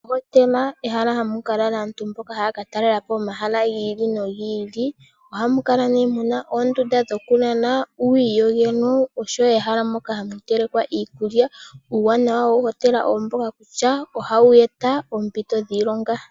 Ohotela ehala mpoka hapu ka lala aantu mboka haya katalalela po omahala ga yoolokathana. Ohamu kala muna oondunda dhokulala, uuyiyogelo oshowo ehala moka hamu telekwa iikulya. Uuwanawa wohotela owo mboka kutya ohayi eta oompito dhiilonga.